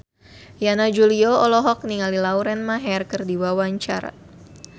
Yana Julio olohok ningali Lauren Maher keur diwawancara